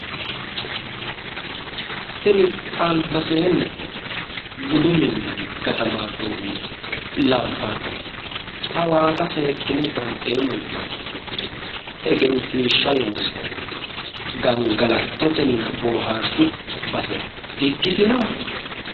Tini albaseenni budu minnanni gatammarronniha labbannoti hawaasa seekkine banxeemmo yitanno tsuufenni egensiishsha loonsoonniti gangalattotenna boohaarshu base di"ikkitino?